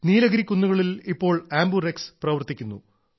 നീലഗിരി കുന്നുകളിൽ ഇപ്പോൾ ആംബുറെക്സ് പ്രവർത്തിക്കുന്നു